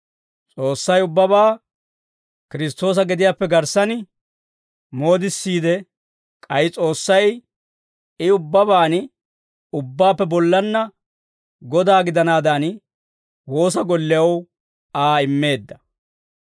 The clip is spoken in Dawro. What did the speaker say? S'oossay ubbabaa Kiristtoosa gediyaappe garssan moodissiide, k'ay S'oossay I ubbabaan ubbaappe bollanna Godaa gidanaadan, woosa gollew Aa immeedda.